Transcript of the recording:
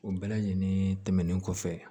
O bɛɛ lajɛlen tɛmɛnen kɔfɛ